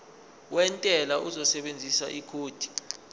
wentela uzosebenzisa ikhodi